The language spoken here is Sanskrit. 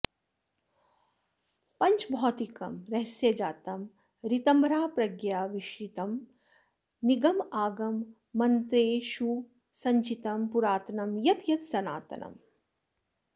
पाञ्चभौतिकं रहस्यजातं ऋतम्भराप्रज्ञया वीक्षितं निगमागम मन्त्रेषुसञ्चितं पुरातनं यत् यत् सनातनम्